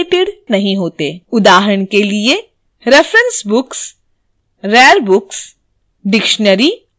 उदाहरण के लिए : reference books rare books dictionary आदि